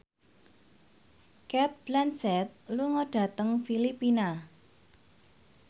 Cate Blanchett lunga dhateng Filipina